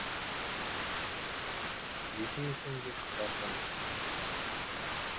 екі мекен де қатар қонған